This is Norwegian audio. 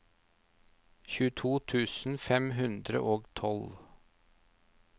tjueto tusen fem hundre og tolv